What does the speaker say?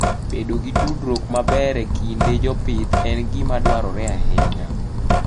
Bedo gi tudruok maber e kind jopith en gima dwarore ahinya.